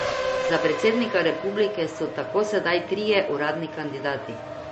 Za predsednika republike so tako sedaj trije uradni kandidati.